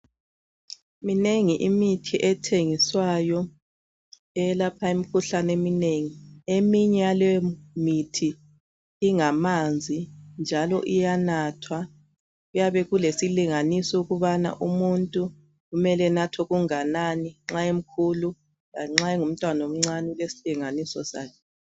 Minengi imithi ethengiswayo eyelapha imikhuhlane eminengi. Eminye yaleyo mithi ingamanzi njalo iyanathwa. Kuyabe kulesilinganiso ukubana umuntu kumele anathe engakanani, nxa emkhulu, lanxa emncane ilesilinganiso sayo.